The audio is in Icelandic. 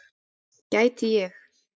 Gæti ég.